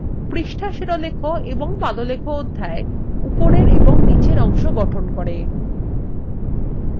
পৃষ্ঠা শিরোলেখ এবং পাদলেখ অধ্যায় উপরের এবং নীচের অংশ গঠন করে